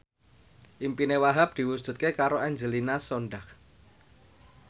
impine Wahhab diwujudke karo Angelina Sondakh